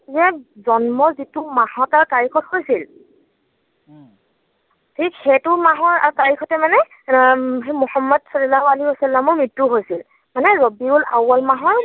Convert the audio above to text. যে জন্মৰ যিটো মাহত আৰু তাৰিখত হৈছিল ঠিক সেইটো মাহৰ আৰু তাৰিখতেই মানে উম সেই মোহাম্মদ ছাল্লাল্লাহু ছাল্লামৰ মৃত্যু হৈছিল।